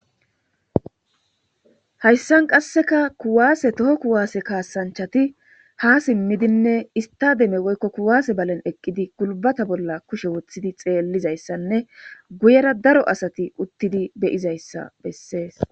Hayssan qasseka kuwaase toho kuwaase kaasanchati ha simmidinne istademe woykko kuwaase balen eqqidi gulbata bolla kushe woththidi xeellizayssanne guyera daro asati uttidi beyizayssa bessees.